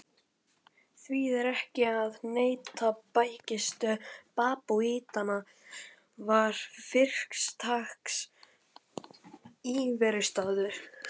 Því er ekki að neita: bækistöð babúítanna var fyrirtaks íverustaður.